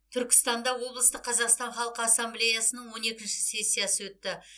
түркістанда облыстық қазақстан халқы ассамблеясының он екінші сессиясы өтті